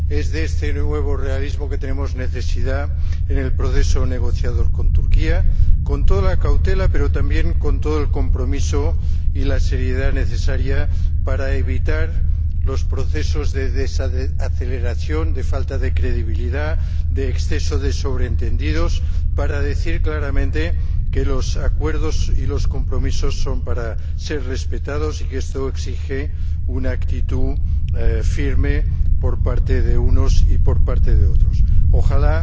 Es este nuevo realismo el que necesitamos en el proceso negociador con Turquía, con toda la cautela pero también con todo el compromiso y la seriedad necesaria para evitar los procesos de desaceleración, de falta de credibilidad, de exceso de sobreentendidos, para decir claramente que los acuerdos y los compromisos son para ser respetados, y que esto exige una actitud firme por parte de unos y por parte de otros. Ojalá